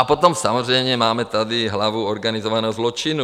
A potom samozřejmě máme tady hlavu organizovaného zločinu.